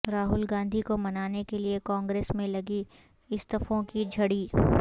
راہل گاندھی کو منانے کے لیے کانگریس میں لگی استعفوں کی جھڑی